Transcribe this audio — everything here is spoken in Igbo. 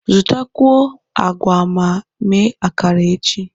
Zụtakwuo agwa ma mee akara echi.